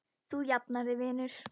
Þú jafnar þig vinur.